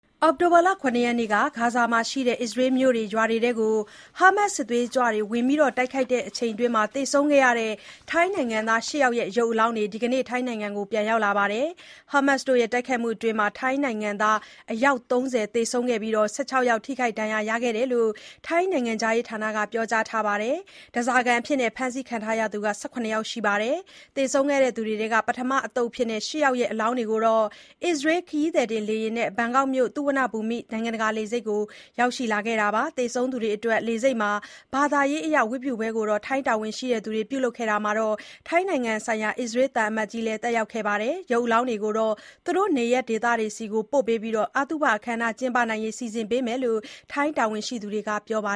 အောက်တိုဘာ ၇ ရက်နေ့က ဂါဇာဒေသမှာရှိတဲ့ အစ္စရေးမြို့တွေ ရွာတွေထဲ Hamas စစ်သွေးကြွတွေ ဝင်ရောက်တိုက်ခိုက်မှုအတွင်းသေဆုံးခဲ့သူ ထိုင်းနိုင်ငံသား ၈ ယောက်ရဲ့ ရုပ်အလောင်းတွေ ဒီနေ့ ထိုင်းနိုင်ငံကို ပြန်ရောက်လာပါတယ်။ Hamas တို့ တိုက်ခိုက်မှုအတွင်း ထိုင်းနိုင်ငံသား အယောက် ၃၀ သေဆုံးခဲ့ပြီး ၁၆ ယောက် ထိခိုက်ဒဏ်ရာရခဲ့တယ်လို့ ထိုင်းနိုင်ငံခြားရေးဌာနက ပြောကြားထားပါတယ်။ ဓါးစာခံအဖြစ် ဖမ်းဆီးခံထားရသူကလည်း ၁၇ ယောက်ရှိပါတယ်။ သေဆုံးခဲ့သူတွေထဲက ပထမအသုတ်အဖြစ် ၈ ယောက်ရဲ့ အလောင်းတွေ အစ္စရေး ခရီးသည်တင်လေယာဉ်နဲ့ ဘန်ကောက်မြို့က Suvarnabhumi (သုဝဏ္ဏဘူမိ) နိုင်ငံတကာ လေဆိပ်ကို ရောက်ရှိလာခဲ့တာပါ။ သေဆုံးသူတွေအတွက် လေဆိပ်မှာ ဘာသာရေးအရ ဝတ်ပြုပွဲကို ထိုင်းတာဝန်ရှိသူတွေက ပြုလုပ်ခဲ့တာမှာ ထိုင်းနိုင်ငံဆိုင်ရာ အစ္စရေးသံအမတ်ကြီးတို့လည်း တက်ရောက်ပါတယ်။ ဒီရုပ်အလောင်းတွေကို သူတို့နေရပ်ဒေသတွေဆီကို အသုဘအခမ်းအနားကျင်းပနိုင်ဖို့ ပို့ဆောင်ပေးမှာဖြစ်တယ်လို့ ထိုင်းတာဝန်ရှိသူတွေက ပြောပါ